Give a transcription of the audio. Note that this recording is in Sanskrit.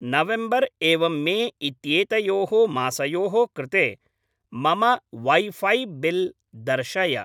नवेम्बर् एवं मे इत्येतयोः मासयोः कृते मम वैफै बिल् दर्शय।